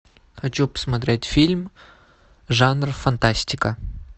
хочу посмотреть фильм жанр фантастика